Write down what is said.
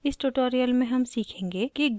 इस tutorial में हम सीखेंगे कि: